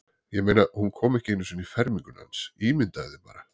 Ég meina, hún kom ekki einu sinni í ferminguna hans, ímyndaðu þér bara.